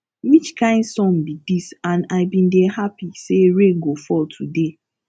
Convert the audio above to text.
which kin sun be ds and i bin dey happy say rain go fall today